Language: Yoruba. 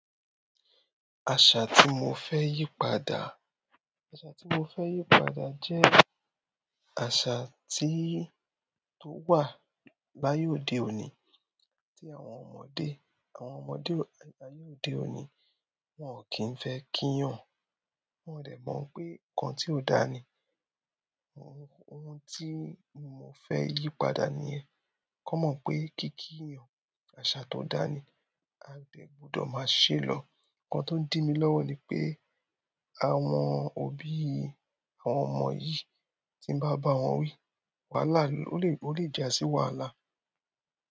Àṣà tí mo fẹ́ yí padà, àṣà tí mo fẹ́ yí padà jẹ́ àṣà tí, tó wà laye òde òní tí àwọn ọmọdé, àwọn ọmọdé aye òde òní wọn ò kí ń fẹ́ kíyàn. Wọ́n dẹ̀ mọ̀ pé nǹkan tí ó dáa ni. Ohun, ohun tí mo fẹ́ yí padà níyẹn, kọ́ mọ̀ pé kíkíiyan, àṣà tó dáa ni a dẹ gbọdọ̀ máa ṣèlọ́. Ǹkan tó ń dí mi lọ́wọ́ ni pé àwọn òbí àwọn ọmọ yìí tí ń bá ba wọn wí, wàhálà ló lè, ó lè jásí wàhálà.